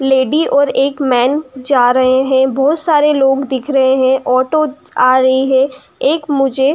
lady ओर एक men जा रहे है बहुत सारे लोग दिख रहे है ऑटो आ रही है एक मुजे --